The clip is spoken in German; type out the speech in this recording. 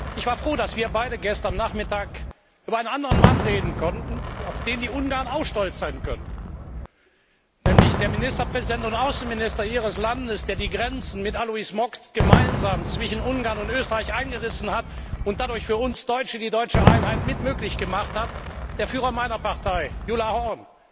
Ich war froh, dass wir beide gestern Nachmittag über einen anderen Mann reden konnten, auf den die Ungarn auch stolz sein können, nämlich den Ministerpräsidenten und Außenminister Ihres Landes, der die Grenzen zwischen Ungarn und Österreich mit Alois Mock gemeinsam eingerissen hat und dadurch für uns Deutsche die deutsche Einheit mit möglich gemacht hat, den Führer meiner Partei, Gyula Horn,